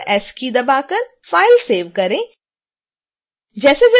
ctrl+s keys दबा कर file save करें